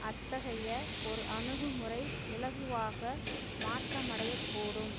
அத்தகைய ஒரு அணுகுமுறை இலகுவாக மாற்றமடையக் கூடும்